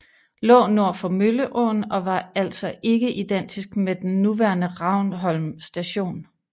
Lå nord for Mølleåen og var altså ikke identisk med den nuværende Ravnholm station